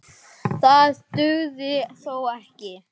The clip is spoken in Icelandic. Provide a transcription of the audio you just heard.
Það dugði þó ekki.